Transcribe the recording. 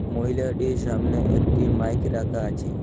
মহিলাটির সামনে একটি মাইক রাকা আচে।